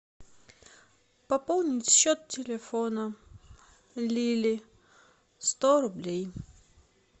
пополнить счет телефона лили сто рублей